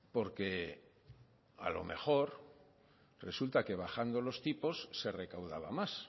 porque a lo mejor resulta que bajando los tipos se recaudaba más